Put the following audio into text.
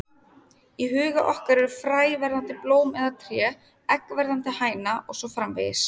Í huga okkar er fræ verðandi blóm eða tré, egg verðandi hæna og svo framvegis.